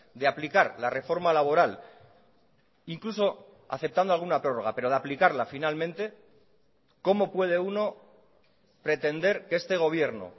de aplicar la reforma laboral incluso aceptando alguna prórroga pero de aplicarla finalmente cómo puede uno pretender que este gobierno